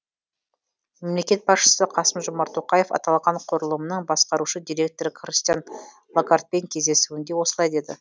мемлекет басшысы қасым жомарт тоқаев аталған құрылымның басқарушы директоры кристин лагардпен кездесуінде осылай деді